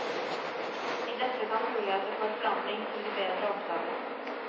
I dette kan muligheter for forandring til det bedre oppdages.